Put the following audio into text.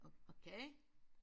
Okay